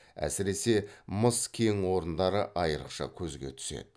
әсіресе мыс кең орындары айрықша көзге түседі